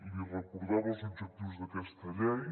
li recordava els objectius d’aquesta llei